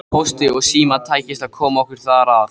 Pósti og Síma tækist að koma okkur þar að.